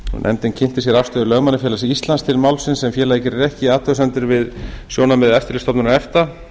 nefndin kynnti sér afstöðu lögmannafélags íslands til málsins en félagið gerir ekki athugasemdir við sjónarmið eftirlitsstofnunar efta